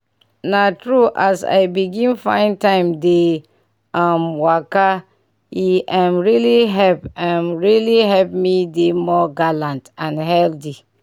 na true as i begin find time to dey um waka e um really help um really help me dey more gallant and healthy.